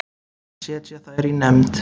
Setja þær í nefnd.